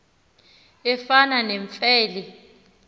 efana nemfe le